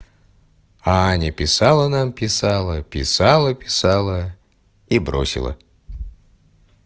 а аня писала нам писала писала писала и бросила